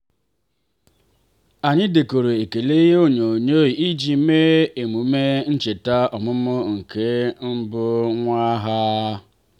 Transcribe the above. anyị dekọrọ ekele ihe onynoyoo iji mee emume ncheta ọmụmụ nke mbụ nwa ha.